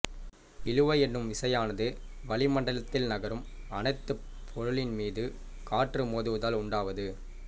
இழுவை என்னும் விசையானது வளிமண்டலத்தில் நகரும் அனைத்துப் பொருளின் மீதும் காற்று மோதுவதால் உண்டாவது